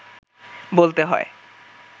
বলতে হয়